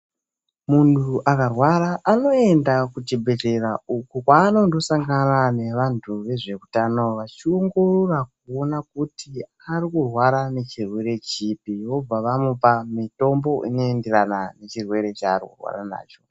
Munhu akarwara anoende kuzvibhledhlera uko kwavanondosangana nevanhu vezveutano vachiongorora kuona kuti ari kurwara nechirwere chipi vobva vamupa mitombo inoenderana nechirwere chaari kurwara nacho